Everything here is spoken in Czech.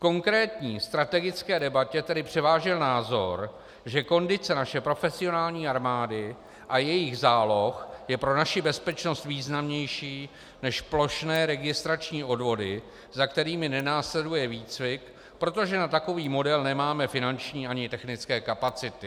V konkrétní strategické debatě tedy převážil názor, že kondice naší profesionální armády a jejích záloh je pro naši bezpečnost významnější než plošné registrační odvody, za kterými nenásleduje výcvik, protože na takový model nemáme finanční ani technické kapacity.